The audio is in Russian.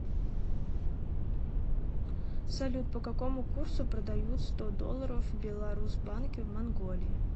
салют по какому курсу продают сто долларов в беларусбанке в манголии